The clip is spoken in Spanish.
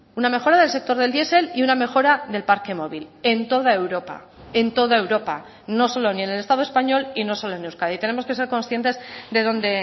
una mejora del sector del diesel y una mejora del parque móvil en toda europa en toda europa no solo ni en el estado español y no solo en euskadi tenemos que ser conscientes de dónde